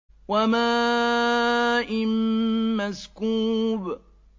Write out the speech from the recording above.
وَمَاءٍ مَّسْكُوبٍ